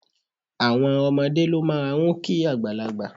Àwọn omodé ló máa n kí àgbàlagbà